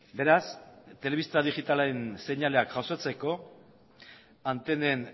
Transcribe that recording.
beraz telebista digitalen seinaleak jasotzeko antenen